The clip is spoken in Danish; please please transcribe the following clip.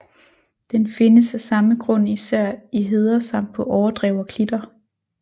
Den findes af samme grund især i heder samt på overdrev og klitter